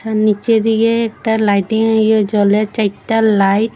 নীচে দিকে একটা লাইটিং ইয়ে জ্বলে চাইরটা লাইট --